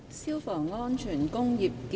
《消防安全條例草案》。